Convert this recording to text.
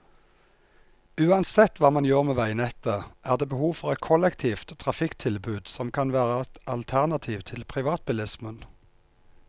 Uansett hva man gjør med veinettet, er det behov for et kollektivt trafikktilbud som kan være et alternativ til privatbilismen.